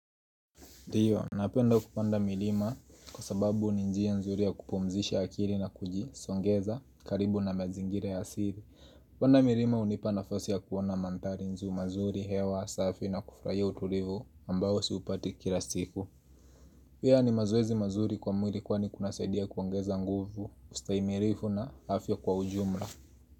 Ndio, napenda kupanda milima kwa sababu ni njia nzuri ya kupumzisha akili na kuji songeza karibu na mazingira ya asili kupanda milima hunipa nafasi ya kuona mandhari mazuri, hewa, safi na kufurahia utulivu ambao siupati kila siku. Pia ni mazoezi mazuri kwa mwili kwani kunasaidia kuongeza nguvu, ustaimilifu na afya kwa ujumla.